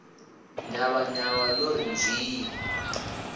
nyavha nyavha lo ri nzwiii